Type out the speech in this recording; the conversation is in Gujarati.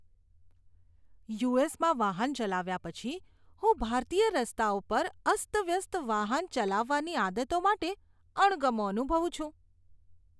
યુ.એસ.માં વાહન ચલાવ્યા પછી, હું ભારતીય રસ્તાઓ પર અસ્તવ્યસ્ત વાહન ચલાવવાની આદતો માટે અણગમો અનુભવું છું.